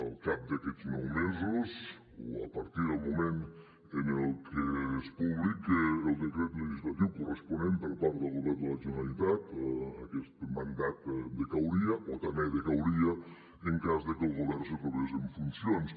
al cap d’aquests nou mesos o a partir del moment en el que es publiqui el decret legislatiu corresponent per part del govern de la generalitat aquest mandat decauria o també decauria en cas que el govern se trobés en funcions